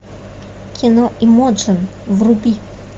кино эмоджин вруби